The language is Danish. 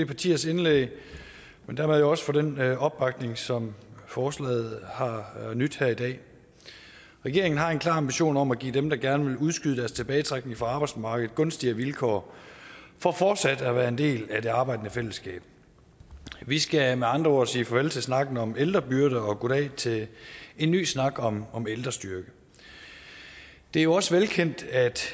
partiers indlæg og dermed også for den opbakning som forslaget har nydt her i dag regeringen har en klar ambition om at give dem der gerne vil udskyde deres tilbagetrækning fra arbejdsmarkedet gunstigere vilkår for fortsat at være en del af det arbejdende fællesskab vi skal med andre ord sige farvel til snakken om ældrebyrde og goddag til en ny snak om om ældrestyrke det er jo også velkendt at